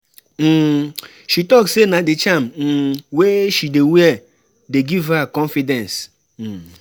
um She tok sey na di charm um wey she dey wear dey give her confidence. um